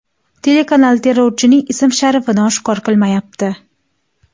Telekanal terrorchining ism-sharifini oshkor qilmayapti.